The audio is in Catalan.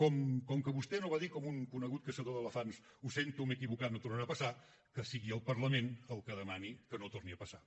com que vostè no va dir com un conegut caçador d’elefants ho sento m’he equivocat no tornarà a passar que sigui el parlament el que demani que no torni a passar